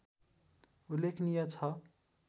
उल्लेखनीय छ